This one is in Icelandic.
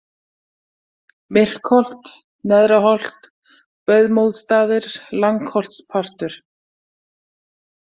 Myrkholt, Nerða-Holt, Böðmóðsstaðir, Langholtspartur